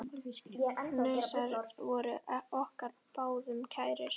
Hnausar voru okkur báðum kærir.